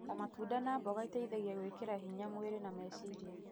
ta matunda na mboga iteithagia gwĩkĩra hinya mwĩrĩ na meciria.